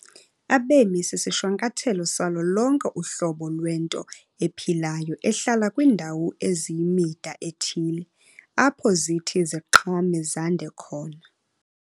Abemi sisishwankathelo salo lonke uhlobo lwento ephilayo, ehlala kwindawo eziyimida ethile, apho zithi ziqhame zande khona.